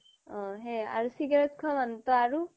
অ' সেয়ে আৰু cigarette খোৱা মানুহ টো আৰু